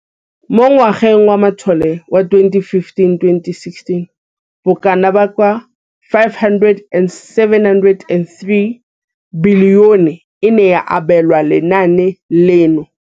Mo ngwageng wa matlole wa 2015,16, bokanaka R5 703 bilione e ne ya abelwa lenaane leno.